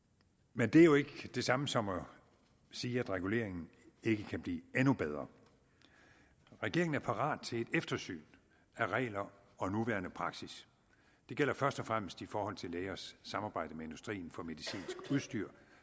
men det er jo ikke det samme som at sige at reguleringen ikke kan blive endnu bedre regeringen er parat til et eftersyn af regler og nuværende praksis det gælder først og fremmest i forhold til lægers samarbejde med industrien for medicinsk udstyr